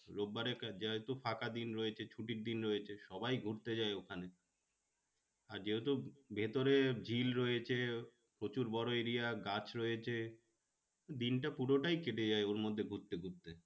রোব বারে যেহেতু ফাঁকা দিন রয়েছে ছুটির দিন রয়েছে সবাই ঘুরতে যায় ওখানে। আর যেহেতু ভেতরে ঝিল রয়েছে প্রচুর বড়ো area গাছ রয়েছে। দিনটা পুরোটাই কেটে যায় ওর মধ্যে ঘুরতে ঘুরতে